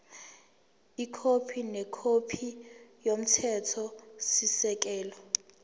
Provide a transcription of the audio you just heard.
ikhophi nekhophi yomthethosisekelo